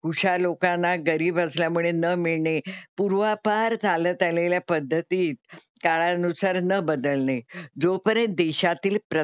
हुशार लोकांना गरीब असल्या मुळे न मिळणे, पूर्वापार चालत आलेल्या पद्धती काळा नुसार न बदलणे, जोपर्यंत देशातील,